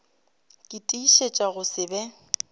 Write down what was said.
ke tiišetša go se be